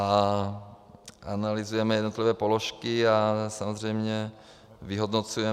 A analyzujeme jednotlivé položky a samozřejmě vyhodnocujeme -